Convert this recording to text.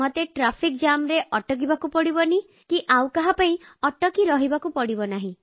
ମୋତେ ଆଉ କାହା ପାଇଁ ଟ୍ରାଫିକ୍ ଜାମରେ ଅଟକିବାକୁ ପଡ଼ିବନି